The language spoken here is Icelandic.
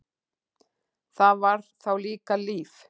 Það var þá líka líf!